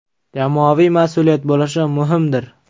Jamoaviy mas’uliyat bo‘lishi muhimdir.